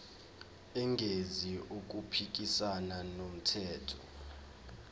engenzi okuphikisana nomthetho